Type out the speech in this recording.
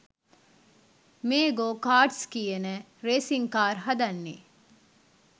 මේ go karts කියන racing car හදන්නෙ.